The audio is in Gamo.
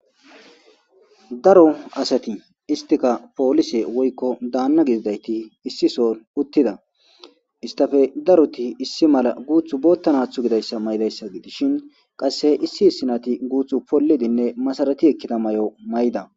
Daro asati istika pollise woyiko danna gididayiti issi soon uttida istappe daroti issi mala guthi bottanatho gidayisa mayiddayisa gidishin qase issi issinati pollidinne masarati ekkida mayo mayida.